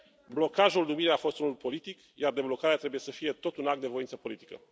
Blocajul numirii a fost unul politic, iar deblocarea trebuie să fie tot un act de voință politică.